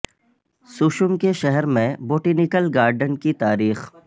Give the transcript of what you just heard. سشم کے شہر میں بوٹینیکل گارڈن کی تاریخ